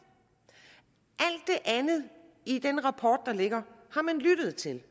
andet i den rapport der ligger har man lyttet til